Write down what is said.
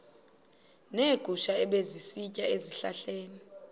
neegusha ebezisitya ezihlahleni